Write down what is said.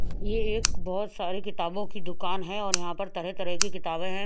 ये एक बहत सारी किताबो की दुकान है और यहाँ पे तरह तरह के किताबे है।